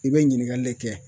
I bɛ ɲininkali le kɛ